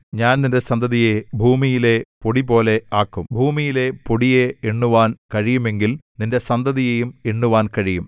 ഞാൻ നിന്റെ സന്തതിയെ ഭൂമിയിലെ പൊടിപോലെ ആക്കും ഭൂമിയിലെ പൊടിയെ എണ്ണുവാൻ കഴിയുമെങ്കിൽ നിന്റെ സന്തതിയെയും എണ്ണുവാൻ കഴിയും